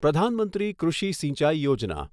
Pradhan Mantri Krishi Sinchai Yojana